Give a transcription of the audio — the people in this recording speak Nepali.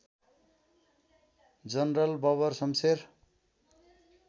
जनरल बबर सम्शेर